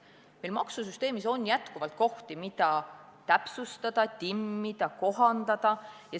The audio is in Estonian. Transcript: Meie maksusüsteemis on jätkuvalt kohti, mida täpsustada, timmida, kohandada.